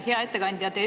Hea ettekandja!